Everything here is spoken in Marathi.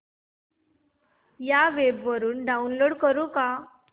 या वेब वरुन डाऊनलोड करू का